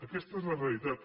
aquesta és la realitat